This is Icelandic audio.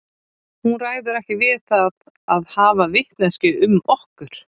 Hún ræður ekki við það að hafa vitneskju um okkur.